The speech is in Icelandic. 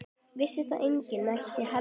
Vissi þá enginn neitt heldur?